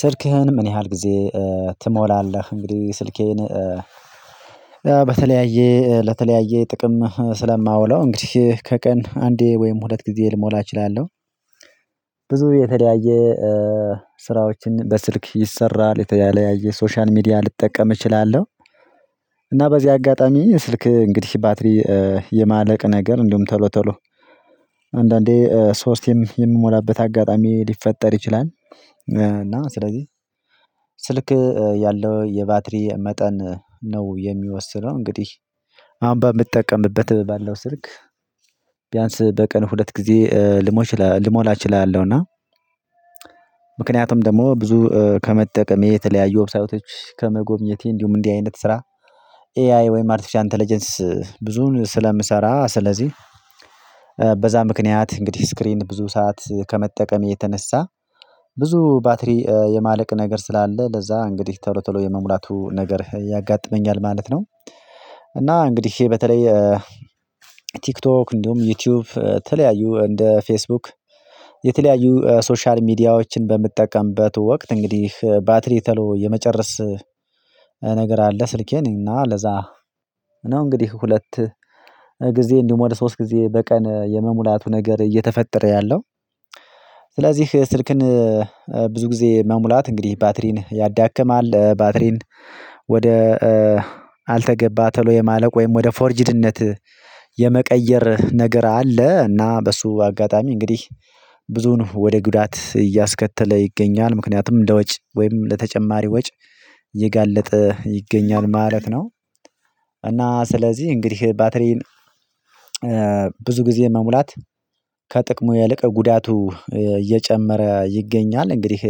ስልክህን ምን ያህል ጊዜ ትሞላለህ? እንግዲህ ስልኬን በተለያየ ለተለያየ ጥቅም ስለማውለው እንግዲህ ከቀን አንዴ ወይም ሁለት ጊዜ ልሞላ እችላለሁ። ብዙ የተለያየ ስራዎችን በስልክ ይሰራል። የተለያየ ሶሻል ሚዲያ ልጠቀም እችላለሁ። እና በዚህ አጋጣሚ ስልክ እንግዲህ ባትሪ የማለቅ ነገር እንደውም ቶሎ ቶሎ አንዳንዴ ሶስት የምሞላበት አጋጣሚ ሊፈጠር ይችላል እና ስለዚህ ስልክ ያለው የባትሪ መጠን ነው የሚወስነው። እንግዲህ አሁን በምትጠቀምበት ባለው ስልክ ቢያንስ በቀን ሁለት ጊዜ ልሞሽ ልሞላ እችላለሁና እችላለሁ እና ምክንያቱም ደግሞ ብዙ ከመጠቀሜ የተለያዩ ዌብሳይቶች ከመጎብኘቴ እንዲሁም እንዲህ አይነት ስራ ኤአይ ወይም አርቴፊሻል አንተለጀንስ ብዙን ስለምሰራ ስለዚህ ምክንያት እንግዲህ ስክሪን ብዙ ሰዓት ከመጠቀሜ የተነሳ ብዙ ባትሪ የማለቅ ነገር ስላለ ለዛ እንግዲህ ቶሎ ቶሎ የመሙላቱ ነገር ያጋጥመኛል ማለት ነው እና እንግዲህ በተለይ ቲክቶክ እንዲሁም ዩቲዩብ ተለያዩ እንደ ፌስቡክ የተለያዩ ሶሻል ሚዲያዎችን በምጠቀምበት ወቅት እንግዲህ ባትሪ ተሎ የመጨረስ ነገር አለ። ስልኬ እኔና ለዛ ነው እንግዲህ ሁለት ጊዜ እንዲሁም ወደ ሶስት ጊዜ በቀን የመሙላቱ ነገር እየተፈጠረ ያለው ስለዚህ ስልክን ብዙ ጊዜ መሙላት እንግዲህ ባትሪን ያዳክማል። ባትሪን ወደ አልተገባ ተሎ የማለቅ ወይም ወደ ፎርጅድነት የመቀየር ነገር አለ እና በሱ አጋጣሚ እንግዲህ ብዙን ወደ ጉዳት እያስከተለ ይገኛል። ምክንያቱም ለወጭ ወይም ለተጨማሪ ወጭ የጋለጠ ይገኛል ማለት ነው። እና ስለዚህ እንግዲህ ባትሪን ብዙ ጊዜ መሙላት ከጥቅሙ ይልቅ ጉዳቱ እየጨመረ ይገኛል። እንግዲህ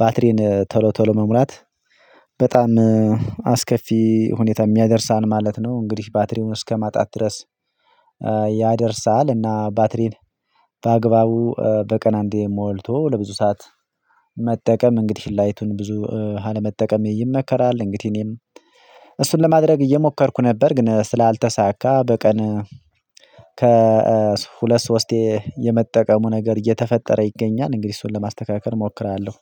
ባትሪን ቶሎ ቶሎ መሙላት በጣም አስከፊ ሁኔታ የሚያደርሳን ማለት ነው እንግዲህ ባትሪውን እስከማጣት ድረስ ያደርሳል እና ባትሪን በአግባቡ በቀን አንዴ ሞልቶ ለብዙ ሰዓት መጠቀም እንግዲህ ላይቱን ብዙ አለመጠቀም ይመከራል እንግዲህ እኔም እሱን ለማድረግ እየሞከርኩ ነበር ግን ስላልተሳካ በቀን ከሁለት ሶስቴ የመጠቀሙ ነገር እየተፈጠረ ይገኛል እንግዲህ እሱን ለማስተካከል እሞክራለሁ